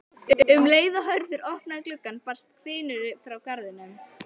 Um leið og Hörður opnaði gluggann barst hvinur frá garðinum.